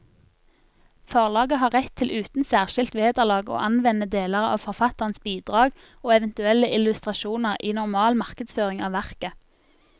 Forlaget har rett til uten særskilt vederlag å anvende deler av forfatterens bidrag og eventuelle illustrasjoner i normal markedsføring av verket.